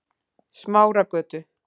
Smáragötu